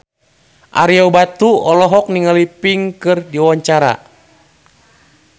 Ario Batu olohok ningali Pink keur diwawancara